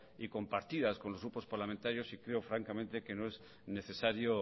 y compartidas con los grupos parlamentarios y creo francamente que no es necesario